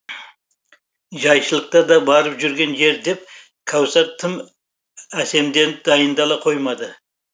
жайшылықта да барып жүрген жер деп кәусар тым әсемденіп дайындала қоймады